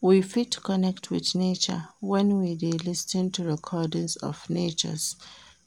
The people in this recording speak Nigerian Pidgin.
We fit connect with nature when we de lis ten to recordings of nature